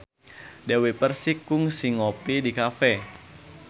Dewi Persik kungsi ngopi di cafe